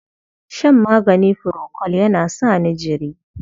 Shan magani furokol yana sa ni jiri.